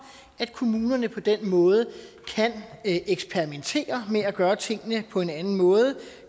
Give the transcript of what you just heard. at kommunerne på den måde kan eksperimentere med at gøre tingene på en anden måde